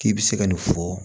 K'i bɛ se ka nin fɔ